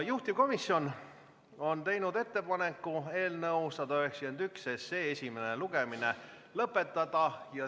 Juhtivkomisjon on teinud ettepaneku eelnõu 191 esimene lugemine lõpetada.